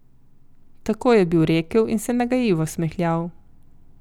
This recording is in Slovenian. Tako je bil rekel in se nagajivo smehljal.